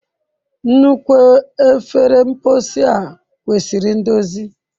Nnukwu efere mposi a kwesịrị ndozi.